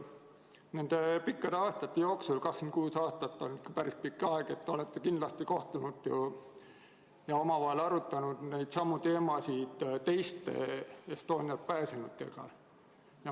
Nende pikkade aastate jooksul – 26 aastat on päris pikk aeg – te olete kindlasti kohtunud ja omavahel arutanud neidsamu teemasid teiste Estonialt pääsenutega.